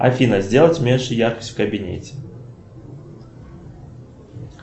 афина сделать меньше яркость в кабинете